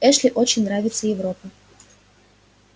эшли очень нравится европа